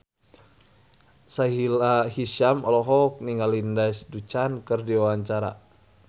Sahila Hisyam olohok ningali Lindsay Ducan keur diwawancara